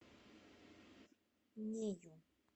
нею